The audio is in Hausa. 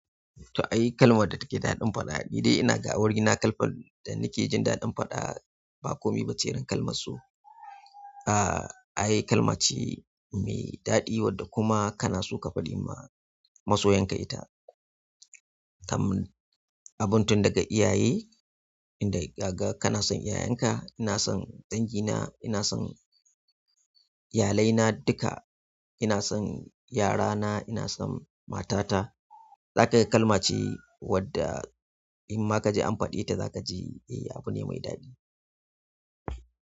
To, ayi kalmar da take daɗin faɗa. Ni dai ina ga wuri na kalfa da nike jin daɗin faɗa. Ba komi ba ce irin kalmar so. Ah, ayi kalmace mai daɗi wadda kuma kana so ka faɗi ma masoyanka ita. Tamam, abun tun daga iyaye, inda kaga kana son iyayenka. Ina son dangina, ina son iyalaina duka, ina son yarana, ina son matata. Zaka ga kalmace wadda in ma kaje an faɗi ita zakaji eh abu ne mai daɗi.